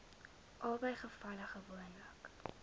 albei gevalle gewoonlik